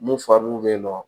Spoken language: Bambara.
N'u fa dun bɛ yen nɔ